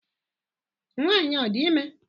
Nwanyị a ọ dị ime?